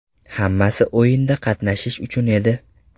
Hammasi o‘yinda qatnashish uchun edi.